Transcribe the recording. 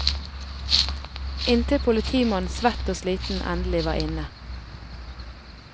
Inntil politimannen svett og sliten endelig var inne.